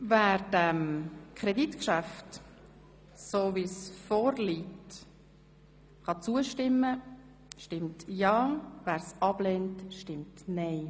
Wer dem Kreditgeschäft, wie es vorliegt, zustimmt, stimmt ja, wer es ablehnt, stimmt nein.